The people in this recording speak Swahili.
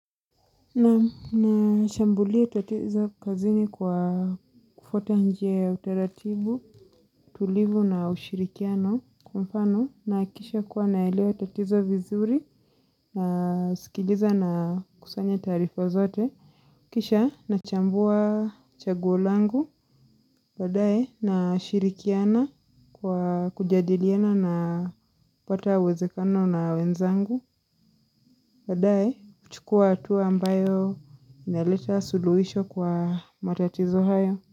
Naam nashambulia tatizo kazini kwa kufuata njia ya uteratibu, tulivu na ushirikiano kwa mfano nakisha kuwa naelewa tatizo vizuri na sikiliza na kusanya tarifa zote. Kisha nachambua chaguo langu, badaye nashirikiana kwa kujadiliana napata wezekano na wenzangu, badaye kuchukua hatua ambayo inaleta suluhisho kwa matatizo hayo.